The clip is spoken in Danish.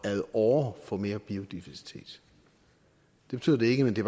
ad åre får mere biodiversitet det betyder det ikke men det